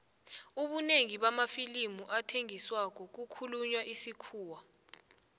ubunengi bamafilimu athengisako kukhulunywa isikhuwa